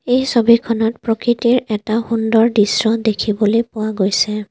এই ছবিখনত প্ৰাকৃতিৰ এটা সুন্দৰ দৃশ্য দেখিবলৈ পোৱা গৈছে।